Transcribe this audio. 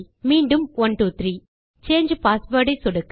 மீண்டும் 123 சாங்கே பாஸ்வேர்ட் ஐ சொடுக்க